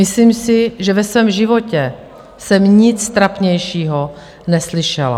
Myslím si, že ve svém životě jsem nic trapnějšího neslyšela.